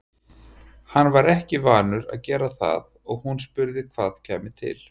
Hann var ekki vanur að gera það og hún spurði hvað kæmi til.